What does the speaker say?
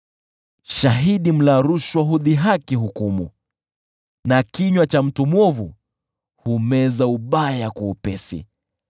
Shahidi mla rushwa hudhihaki hukumu na kinywa cha mtu mwovu humeza ubaya kwa upesi.